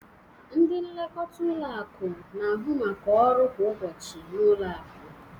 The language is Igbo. Ndị nlekọta ụlọ akụ na-ahụ maka ọrụ kwa ụbọchị ụlọ akụ.